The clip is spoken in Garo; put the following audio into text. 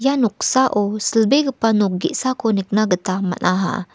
ia noksao silbegipa nok ge·sako nikna gita man·aha.